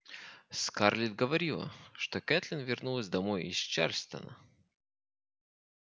скарлетт говорила что кэтлин вернулась домой из чарльстона